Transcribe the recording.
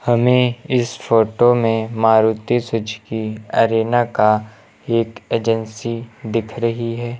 हमें इस फोटो में मारुति सुजुकी अरेना का एक एजेंसी दिख रही है।